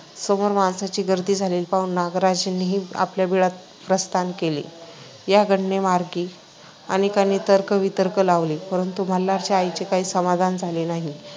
समोर माणसांची गर्दी झालेली पाहून नागराजांनीही आपल्या बिळात प्रस्थान केले. या घटनेमागे अनेकांनी तर्क-वितर्क लावले परंतु मल्हारच्या आईचे काही समाधान झाले नाही.